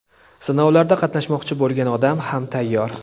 sinovlarda qatnashmoqchi bo‘lgan odam ham tayyor.